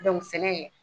sɛnɛ